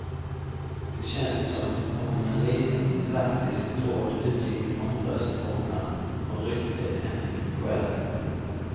Det känns som om en liten elastisk tråd utgick från bröstvårtan och ryckte en i själen.